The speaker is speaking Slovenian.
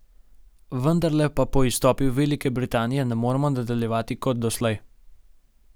Vendarle pa po izstopu Velike Britanije ne moremo nadaljevati kot doslej.